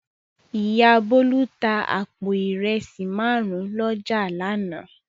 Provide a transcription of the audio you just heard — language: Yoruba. Ìyá Bólú tá àpò ìrẹsì márùn-ún lọ́jà lánàá.